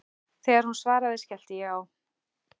Þegar hún svaraði, skellti ég á.